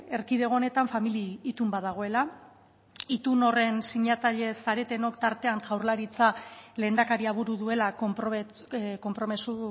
erkidego honetan familia itun bat dagoela itun horren sinatzaile zaretenok tartean jaurlaritza lehendakaria buru duela konpromiso